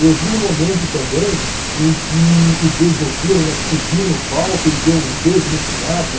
Eu vi no momento também em que o beijoqueiro, né, subiu no palco e deu um beijo no Sinatra.